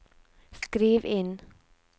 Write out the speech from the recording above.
skriv inn